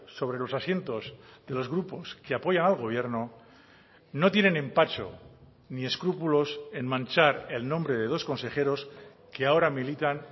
sobre los asientos de los grupos que apoyan al gobierno no tienen empacho ni escrúpulos en manchar el nombre de dos consejeros que ahora militan